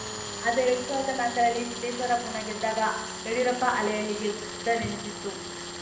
ಆದರೆ ಎರಡ್ ಸಾವಿರದ ನಾಕರಲ್ಲಿ ಸಿದ್ದೇಶ್ವರ ಪುನಾ ಗೆದ್ದಾಗ ಯಡಿಯೂರಪ್ಪ ಅಲೆಯಲ್ಲಿ ಗೆದ್ದರೆಂದಿತು